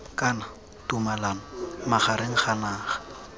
kana tumalano magareng ga naga